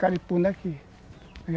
aqui.